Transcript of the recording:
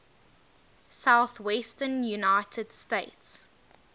southwestern united states